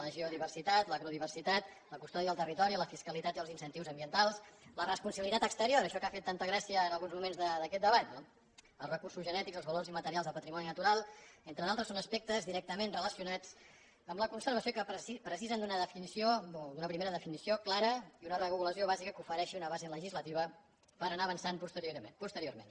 la geodiversitat l’agrodiversitat la custòdia del territori la fiscalitat i els incentius ambientals la responsabilitat exterior això que ha fet tanta gràcia en alguns moments d’aquest debat no els recursos genètics els valors immaterials del patrimoni natural entre d’altres són aspectes directament relacionats amb la conservació que necessiten una definició o una primera definició clara i una regulació bàsica que ofereixi una base legislativa per anar avançant posteriorment